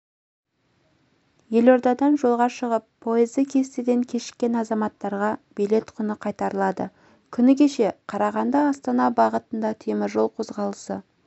елордадан жолға шығып пойызы кестеден кешіккен азаматтарға билет құны қайтарылады күні кеше қарағанды-астана бағытында теміржол қозғалысы